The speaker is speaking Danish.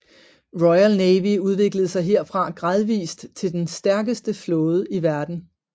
Royal Navy udviklede sig herfra gradvist til den stærkeste flåde i verden